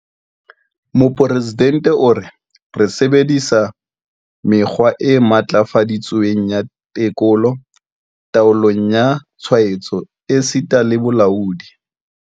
Mopresidente o re, Re sebedi-sa mekgwa e matlafaditsweng ya tekolo, taolo ya tshwaetso esita le bolaodi.